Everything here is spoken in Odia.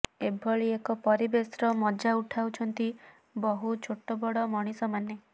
ଏଭଳି ଏକ ପରିବେଶର ମଜା ଉଠାଉଛନ୍ତି ବହୁ ଛୋଟବଡ ମଣିଷମାନେ